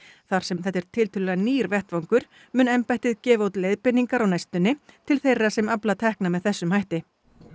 þar sem þetta er tiltölulega nýr vettvangur mun embættið gefa út leiðbeiningar á næstunni til þeirra sem afla tekna með þessum hætti